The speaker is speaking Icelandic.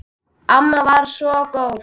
Amma var svo góð.